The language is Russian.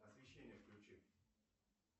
освещение включи